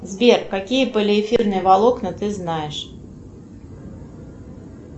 сбер какие полиэфирные волокна ты знаешь